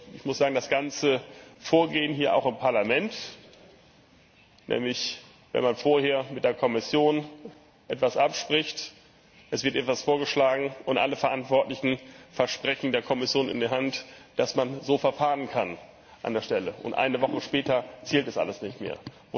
Ich muss sagen, das ganze Vorgehen im Parlament nämlich wenn man vorher mit der Kommission etwas abspricht, es wird etwas vorgeschlagen und alle Verantwortlichen versprechen der Kommission in die Hand, dass man so verfahren kann, und eine Woche später zählt das alles nicht mehr